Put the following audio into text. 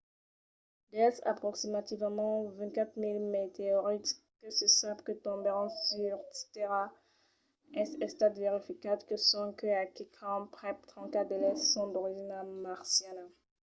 dels aproximativament 24 000 meteorits que se sap que tombèron sus tèrra es estat verificat que sonque a quicòm prèp 34 d'eles son d'origina marciana